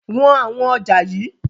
Wọn àwọn ọjà yii!